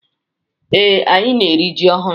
Ee, anyị na-eri ji ọhụrụ.